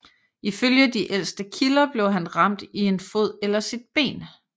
Ifølge de ældste kilder blev han ramt i en fod eller sit ben